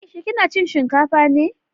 Aisha kina cin shinkafa ne?